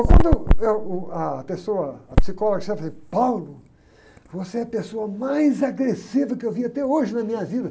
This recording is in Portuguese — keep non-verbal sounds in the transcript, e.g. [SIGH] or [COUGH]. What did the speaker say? Quando eu, uh, ah, a pessoa, a psicóloga, fala assim, [UNINTELLIGIBLE] você é a pessoa mais agressiva que eu vi até hoje na minha vida.